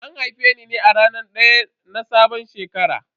An haife ni ne a ranar daya na sabon shekara.